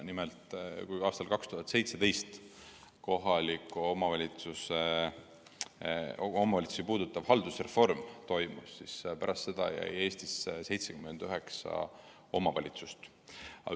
Nimelt, pärast 2017. aastal toimunud kohalikke omavalitsusi puudutavat haldusreformi jäi Eestisse 79 omavalitsusüksust.